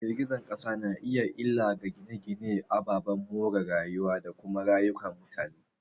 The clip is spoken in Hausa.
Girgizar kasa na iya yin illa ga gine-gine, ababen more rayuwa, da kuma rayukan mutane.